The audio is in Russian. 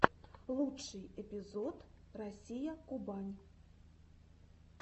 лучший эпизод россия кубань